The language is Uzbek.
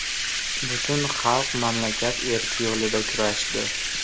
Butun xalq mamlakat erki yo‘lida kurashdi.